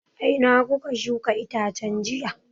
A ina kuka shuka itacen jiya?